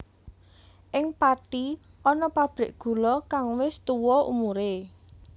Ing Pathi ana pabrik gula kang wis tuwa umure